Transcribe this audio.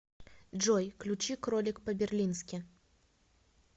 джой ключи кролик по берлински